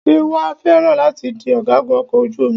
Ṣé wàá fẹ́ràn láti di ọ̀gágun ọkọ̀ ojú omi?